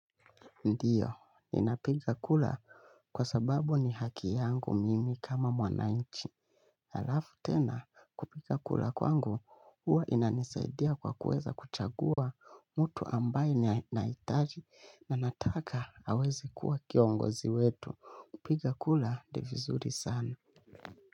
Ndiyo, ninapiga kura kwa sababu ni haki yangu mimi kama mwanainchi. Halafu tena, kupiga kura kwangu, huwa inanisaidia kwa kuweza kuchagua mtu ambaye nahitaji na nataka aweze kuwa kiongozi wetu. Kupiga kura, ni vizuri sana.